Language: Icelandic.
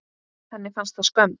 Henni fannst það skömm.